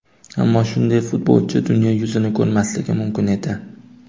Ammo shunday futbolchi dunyo yuzini ko‘rmasligi mumkin edi.